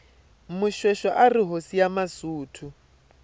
moshoeshoe arihhosi yamasuthu